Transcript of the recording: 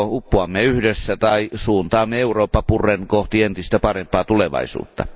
Me joko uppoamme yhdessä tai suuntaamme Eurooppa purren kohti entistä parempaa tulevaisuutta.